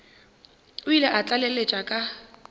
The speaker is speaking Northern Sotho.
o ile a tlaleletša ka